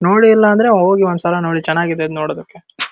ನೋಡಿ ಇಲ್ಲಾಂದ್ರೆ ಹೋಗಿ ಒಂದಸಲ ಚೆನ್ನಾಗಿದೆ ನೊಡೊದಕ್ಕು.